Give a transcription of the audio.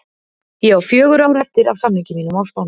Ég á fjögur ár eftir af samningi mínum á Spáni.